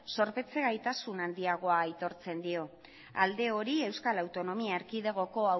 zorpetze gaitasun handiagoa aitortzen dio alde hori euskal autonomia erkidegoko